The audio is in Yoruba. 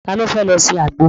Ta ni ó fẹ́ lọ se àgbo?